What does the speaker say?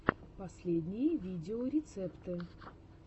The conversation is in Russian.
последние видеорецепты